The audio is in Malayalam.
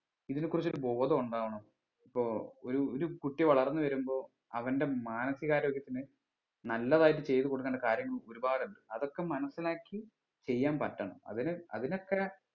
ഇതിനെ കുറിച്ച് ഒരു ബോധം ഉണ്ടാവണം ഇപ്പൊ ഒര് ഒര് കുട്ടി വളർന്ന് വരുമ്പോ അവൻ്റെ മാനസിക ആരോഗ്യത്തിന് നല്ലതായിട്ട് ചെയ്ത് കൊടുക്കണ്ട കാര്യങ്ങൾ ഒരുപാട് ഉണ്ട് അതൊക്കെ മനസ്സിലാക്കി ചെയ്യാൻ പറ്റണം അതിന് അതിനൊക്കെ